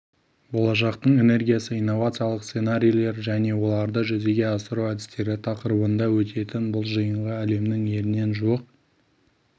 болашақтың энергиясы инновациялық сценарийлер және оларды жүзеге асыру әдістері тақырыбында өтетін бұл жиынға әлемнің елінен жуық